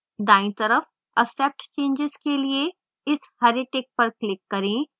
दायीं तरफ accept changes के लिए इस हरे tick पर click करें